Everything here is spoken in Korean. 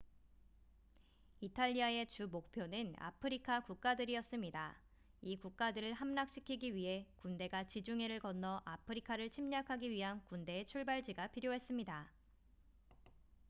이탈리아의 주목표는 아프리카 국가들이었습니다 이 국가들을 함락시키기 위해 군대가 지중해를 건너 아프리카를 침략하기 위한 군대의 출발지가 필요했습니다